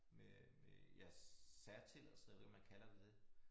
Med med ja særtilladelse jeg ved ikke om man kalder det det